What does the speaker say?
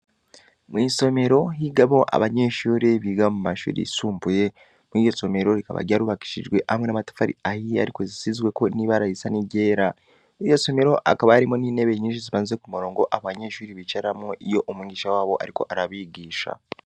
Mw’isomero higamwo abanyeshure biga mu mashuri yisumbuye, muri iryo somero rikaba ryarubakishijwe hamwe n’amatafari ahiye ariko zisizweko n’ibara risa n’iryera; muri iryo somero hakaba harimwo n’intebe nyinshi zipanze ku murongo, abanyeshure bicarako iyo umwigisha wabo ariko arabigisha.